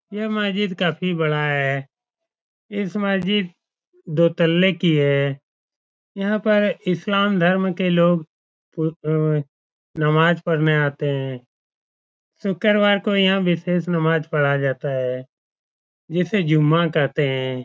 यह मस्जिद काफी बड़ा है। इस मस्जिद दो तल्ले की है। यहाँ पर इस्लाम धर्म के लोग नमाज पढने आते हैं। शुक्रवार को यहाँ विशेष नमाज़ पढ़ा जाता है जिसे जुम्मा कहते हैं।